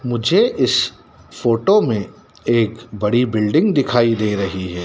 मुझे इस फोटो में एक बड़ी बिल्डिंग दिखाई दे रही है।